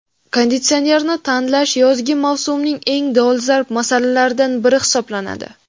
Konditsionerni tanlash yozgi mavsumning eng dolzarb masalalaridan biri hisoblanadi.